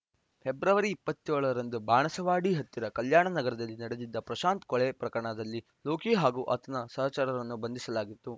February ಇಪ್ಪತ್ತ್ ಏಳು ರಂದು ಬಾಣಸವಾಡಿ ಹತ್ತಿರ ಕಲ್ಯಾಣ ನಗರದಲ್ಲಿ ನಡೆದಿದ್ದ ಪ್ರಶಾಂತ್‌ ಕೊಲೆ ಪ್ರಕರಣದಲ್ಲಿ ಲೋಕಿ ಹಾಗೂ ಆತನ ಸಹಚರರನ್ನು ಬಂಧಿಸಲಾಗಿತ್ತು